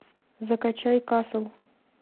закачай касл